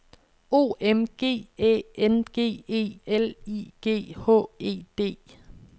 O M G Æ N G E L I G H E D